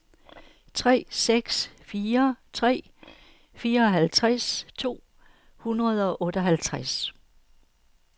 tre seks fire tre fireoghalvtreds to hundrede og otteoghalvtreds